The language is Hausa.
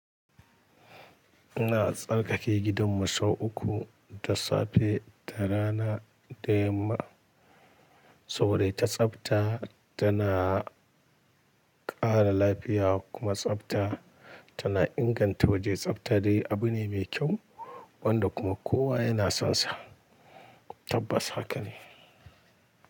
Ina tsarkake gidan mu sau uku da safe da rana da yamma, saboda ta tsafta tana ƙara lafiya kuma tsafta tana inganta waje. Tsafta dai abu ne mai kyau wanda kuma kowa yana son sa tabbas haka ne.